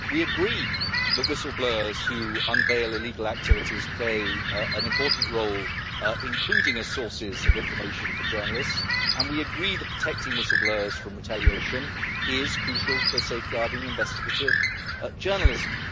We agree that whistle-blowers who unveil illegal activities play an important role, including as sources of information for journalists, and we agree that protecting whistle-blowers from retaliation is crucial for safeguarding investigative journalism.